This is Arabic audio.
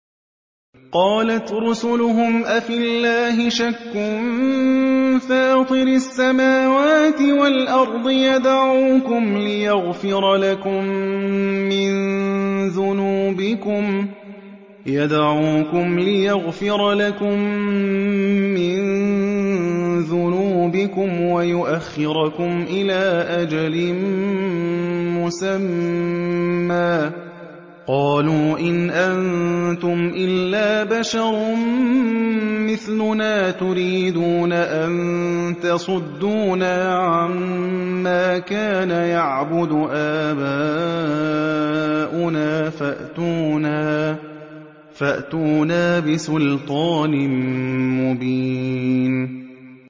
۞ قَالَتْ رُسُلُهُمْ أَفِي اللَّهِ شَكٌّ فَاطِرِ السَّمَاوَاتِ وَالْأَرْضِ ۖ يَدْعُوكُمْ لِيَغْفِرَ لَكُم مِّن ذُنُوبِكُمْ وَيُؤَخِّرَكُمْ إِلَىٰ أَجَلٍ مُّسَمًّى ۚ قَالُوا إِنْ أَنتُمْ إِلَّا بَشَرٌ مِّثْلُنَا تُرِيدُونَ أَن تَصُدُّونَا عَمَّا كَانَ يَعْبُدُ آبَاؤُنَا فَأْتُونَا بِسُلْطَانٍ مُّبِينٍ